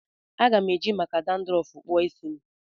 Aga m eji maka dandrọfu kpụọ isi m